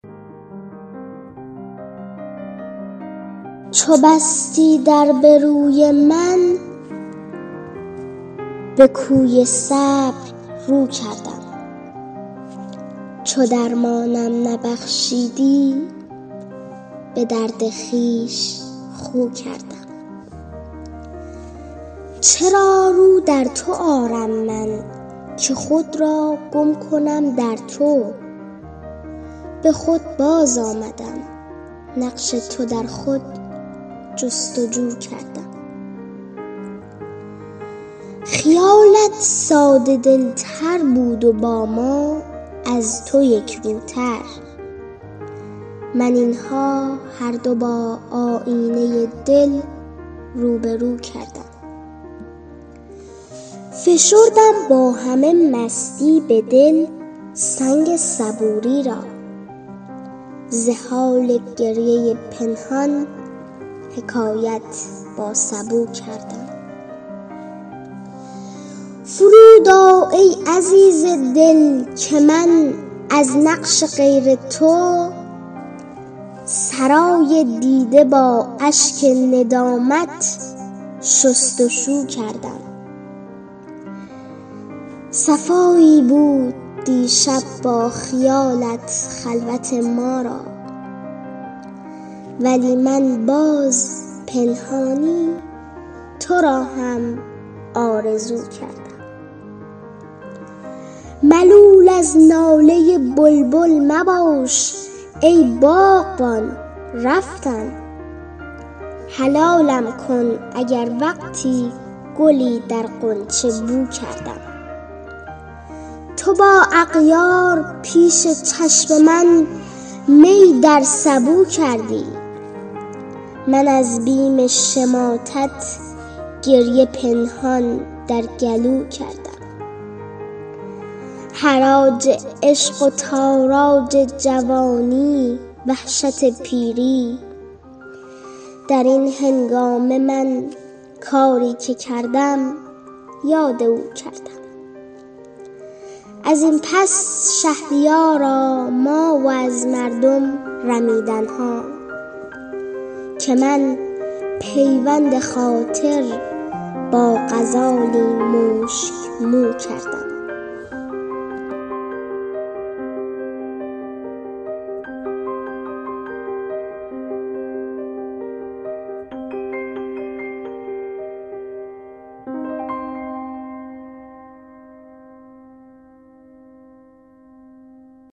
چو بستی در به روی من به کوی صبر رو کردم چو درمانم نبخشیدی به درد خویش خو کردم چرا رو در تو آرم من که خود را گم کنم در تو به خود باز آمدم نقش تو در خود جست وجو کردم خیالت ساده دل تر بود و با ما از تو یک روتر من این ها هر دو با آیینه دل روبه رو کردم فشردم با همه مستی به دل سنگ صبوری را ز حال گریه پنهان حکایت با سبو کردم فرود آ ای عزیز دل که من از نقش غیر تو سرای دیده با اشک ندامت شست و شو کردم صفایی بود دیشب با خیالت خلوت ما را ولی من باز پنهانی تو را هم آرزو کردم ملول از ناله بلبل مباش ای باغبان رفتم حلالم کن اگر وقتی گلی در غنچه بو کردم تو با اغیار پیش چشم من می در سبو کردی من از بیم شماتت گریه پنهان در گلو کردم حراج عشق و تاراج جوانی وحشت پیری در این هنگامه من کاری که کردم یاد او کردم ازین پس شهریارا ما و از مردم رمیدن ها که من پیوند خاطر با غزالی مشک مو کردم